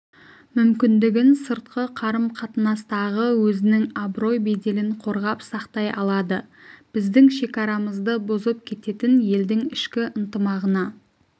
мүмкіндігін сыртқы қарым-қатынастағы өзінің абырой-беделін қорғап сақтай алады біздің шекарамызды бұзып кететін елдің ішкі ынтымағына